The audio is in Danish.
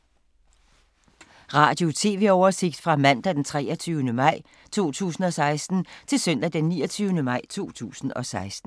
Radio/TV oversigt fra mandag d. 23. maj 2016 til søndag d. 29. maj 2016